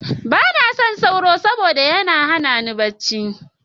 Ba na son sauro, saboda da yana hana ni barci.